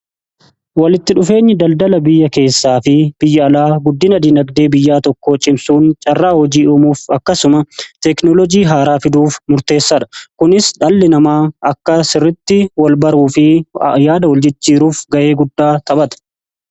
walitti dhufeenyi daldala biyya keessaa fi biyya alaa guddina diinagdee biyyaa tokko cimsuun carraa hojii uumuf akkasuma teknolojii haaraa fiduuf murteessaa dha kunis dhalli namaa akka sirritti wal baruu fi yaada wal jijjiiruuf ga'ee guddaa taphata.